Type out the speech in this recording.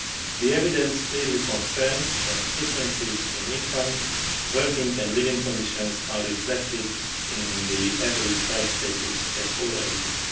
The evidence clearly confirms that differences in income, working and living conditions are reflected in the average health status at all ages.